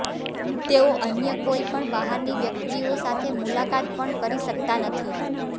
તેઓ અન્ય કોઈપણ બહારની વ્યક્તિઓ સાથે મુલાકાત પણ કરી શકતા નથી